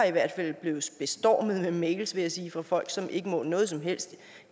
i hvert fald blevet bestormet med mails vil jeg sige fra folk som ikke må noget som helst